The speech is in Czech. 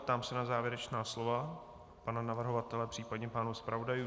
Ptám se na závěrečná slova pana navrhovatele případně pánů zpravodajů.